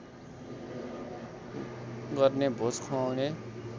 गर्ने भोज खुवाउने